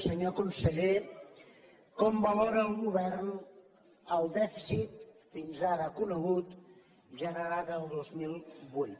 senyor conseller com valora el govern el dèficit fins ara conegut generat el dos mil vuit